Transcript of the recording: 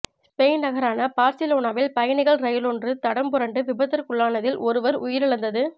Spain நகரான பார்சிலோனாவில் பயணிகள் ரயிலொன்று தடம்புரண்டு விபத்திற்குள்ளானதில் ஒருவர் உயிரிழந்ததுட